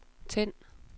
tænd